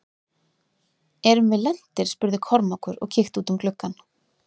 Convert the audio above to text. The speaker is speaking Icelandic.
Erum við lentir spurði Kormákur og kíkti út um gluggann.